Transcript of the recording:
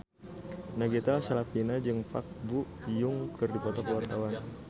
Nagita Slavina jeung Park Bo Yung keur dipoto ku wartawan